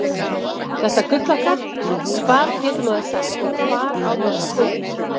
Þetta gull okkar, hvað getur maður sagt og hvar á maður að byrja?